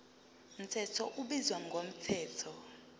mthetho ubizwa ngomthetho